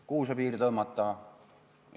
Kuhu see piir tõmmata?